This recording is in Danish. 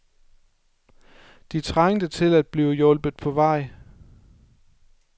De trængte til at blive hjulpet på vej.